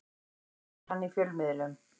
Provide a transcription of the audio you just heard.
Það gerir hann í fjölmiðlum